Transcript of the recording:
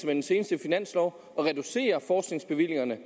den seneste finanslov at reducere forskningsbevillingerne